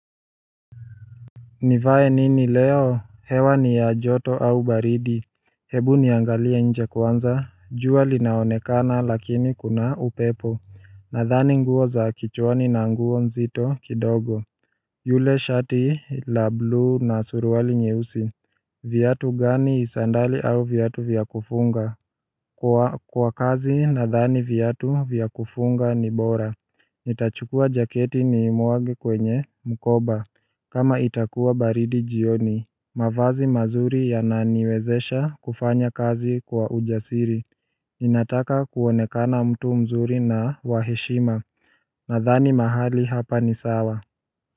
Nivae nini leo, hewa ni ya joto au baridi Hebu niangalie nje kwanza, jua linaonekana lakini kuna upepo Nadhani nguo za kichwani na nguo mzito kidogo Yule shati la blue na suruali nyeusi Viatu gani sandali au viatu vya kufunga Kwa kazi nadhani viatu vya kufunga ni bora Nitachukua jaketi niimwage kwenye mkoba kama itakuwa baridi jioni mavazi mazuri yananiwezesha kufanya kazi kwa ujasiri ninataka kuonekana mtu mzuri na wa heshima Nadhani mahali hapa ni sawa.